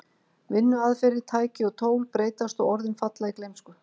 Vinnuaðferðir, tæki og tól breytast og orðin falla í gleymsku.